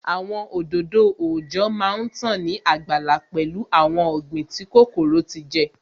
Àwọn òdòdó òòjọ́ má tán ní àgbàlá pẹ̀lú awon ọ̀gbìn tí kòkòrò ti jẹ